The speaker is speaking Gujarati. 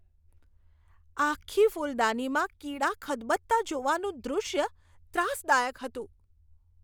આખી ફૂલદાનીમાં કીડા ખદબદતા જોવાનું દૃશ્ય ત્રાસદાયક હતું.